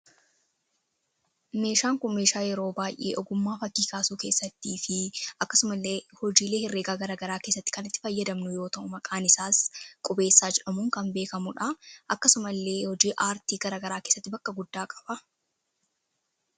Meeshaan kun meeshaa yeroo baay'ee ogummaa fakkii kaasuu keessattii fi akkasuma illee hojiilee herreegaa garaa garaa keessatti kan itti fayyadamnu yoota'u maqaan isaas qubeessaa jedhamuun kan beekamuudha. akkasuma illee hojii aartii garaa garaa kessatti bakka guddaa qaba.